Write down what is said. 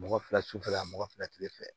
Mɔgɔ fila sufɛla mɔgɔ fila fɛ